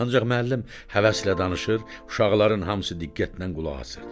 Ancaq müəllim həvəslə danışır, uşaqların hamısı diqqətlə qulaq asır.